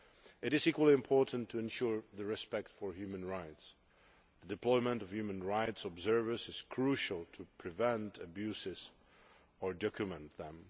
It is equally important to ensure respect for human rights. Deployment of human rights observers is crucial to preventing abuses or documenting them.